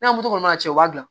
N'a m'o kɔnɔ cɛ o b'a dilan